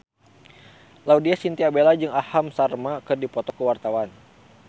Laudya Chintya Bella jeung Aham Sharma keur dipoto ku wartawan